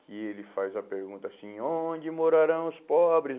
Que ele faz a pergunta assim, onde morarão os pobres?